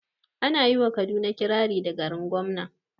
Ana yi wa kaduna kirari da "garin gwamna"